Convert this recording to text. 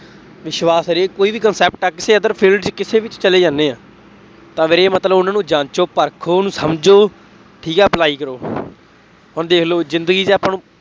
ਵਿਸ਼ਵਾਸ ਹਰੇਕ ਕੋਈ ਵੀ concept ਹੈ, ਤੁਸੀਂ ਅਗਰ field ਚ ਕਿਸੇ ਵਿੱਚ ਚਲੇ ਜਾਂਦੇ ਆ, ਤਾਂ ਵੀਰੇ ਮਤਲਬ ਉਹਨਾ ਨੂੰ ਜਾਂਚੋ, ਪਰਖੋ, ਸਮਝੋ, ਠੀਕ ਹੈ apply ਕਰੋ, ਹੁਣ ਦੇਖ ਲਉ ਜ਼ਿੰਦਗੀ ਚ ਆਪਾਂ ਨੂੰ